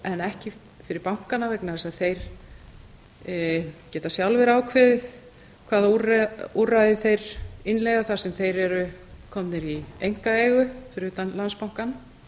en ekki fyrir bankana vegna þess að þeir geta sjálfir ákveðið hvaða úrræði þeir innleiða þar sem þeir eru komnir í einkaeigu fyrir utan landsbankann